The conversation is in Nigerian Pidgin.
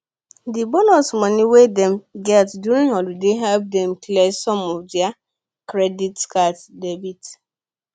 dey bonus money wey dem get during holiday help dem clear some of their credit card debt